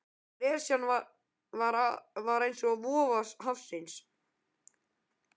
Gresjan var eins og vofa hafsins.